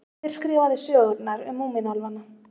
Hver skrifaði sögurnar um Múmínálfana?